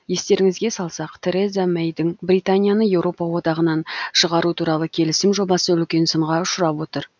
естеріңізге салсақ тереза мэйдің британияны еуропа одағынан шығару туралы келісім жобасы үлкен сынға ұшырап отыр